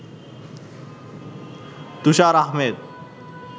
Tushar Ahmed